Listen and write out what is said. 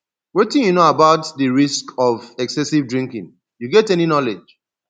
wetin you know about di risks of excessive drinking you get any knowledge